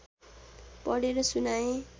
पढेर सुनाए